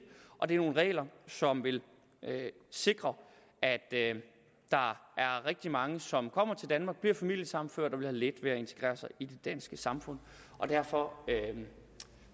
og det er nogle regler som vil sikre at der er rigtig mange som kommer til danmark bliver familiesammenført og vil have let ved at integrere sig i det danske samfund derfor